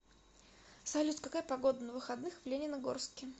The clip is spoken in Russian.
салют какая погода на выходных в лениногорске